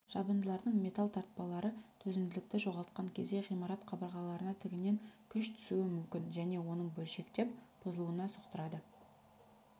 жабындылардың металл тартпалары төзімділікті жоғалтқан кезде ғимарат қабырғаларына тігінен күш түсуі мүмкін және оның бөлшектеп бұзылуына соқтырады